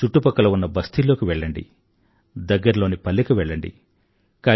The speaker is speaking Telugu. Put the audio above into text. చుట్టుపక్కల ఉన్న బస్తీల్లోకి వెళ్ళండి దగ్గరలోని పల్లెకు వెళ్లండి